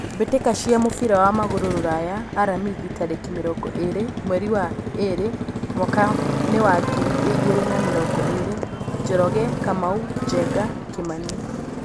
Mbĩtĩka cia mũbira wa magũrũ Ruraya Aramithi tarĩki mĩrongo ĩrĩ mweri wa ĩrĩ mwakainĩ wa ngiri igĩrĩ na mĩrongo ĩrĩ: Njoroge, Kamau, Njenga, Kimani.